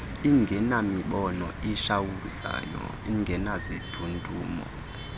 ingenamibane itshawuzayo ingenazindudumo